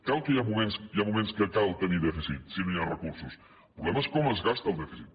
clar que hi ha moments que cal tenir dèficit si no hi ha recursos el problema és com es gasta el dèficit